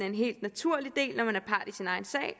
en helt naturlig del